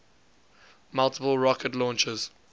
multiple rocket launchers